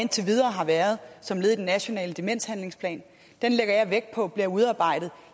indtil videre har været som led i den nationale demenshandlingsplan den lægger jeg vægt på bliver udarbejdet